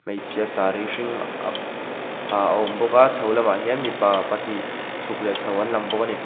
hmeichhhia sari hring ak ha a awm bawk a chho lamah hian mipa pahnih chuk leh chho an lang bawk a ni.